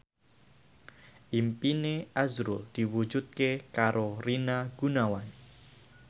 impine azrul diwujudke karo Rina Gunawan